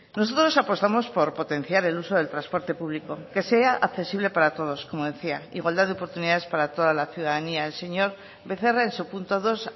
nosotros apostamos por potenciar el uso del transporte público que sea accesible para todos como decía igualdad de oportunidades para toda la ciudadanía el señor becerra en su punto dos